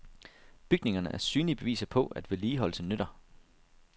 Bygningerne er synlige beviser på, at vedligeholdelse nytter.